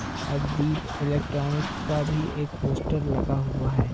और दीप इलेक्ट्रॉनिक्स का भी एक पोस्टर लगा हुआ हैं।